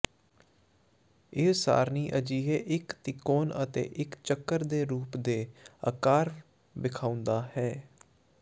ਇਹ ਸਾਰਣੀ ਅਜਿਹੇ ਇੱਕ ਤਿਕੋਣ ਅਤੇ ਇੱਕ ਚੱਕਰ ਦੇ ਰੂਪ ਰੇਿਾ ਆਕਾਰ ਵੇਖਾਉਦਾ ਹੈ